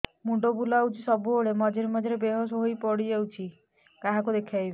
ମୁଣ୍ଡ ବୁଲାଉଛି ସବୁବେଳେ ମଝିରେ ମଝିରେ ବେହୋସ ହେଇ ପଡିଯାଉଛି କାହାକୁ ଦେଖେଇବି